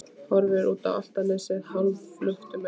Horfir út á Álftanes hálfluktum augum.